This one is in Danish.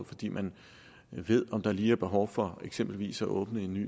fordi man ved om der lige er behov for eksempelvis at åbne en ny